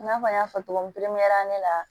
I n'a fɔ n y'a fɔ cogo min pepereyɛrila